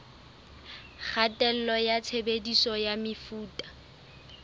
kgatello ya tshebediso ya mefuta